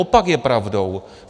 Opak je pravdou.